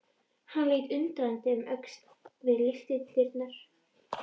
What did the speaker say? Hann leit undrandi um öxl við lyftudyrnar.